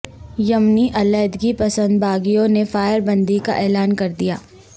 یمنی علیحدگی پسند باغیوں نے فائربندی کا اعلان کر دیا